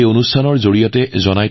এই তথ্য ইয়াৰ মানুহৰ বাবে অতি উপযোগী